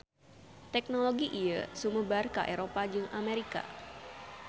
Teknologi ieu sumebar ka Eropa jeung Amerika.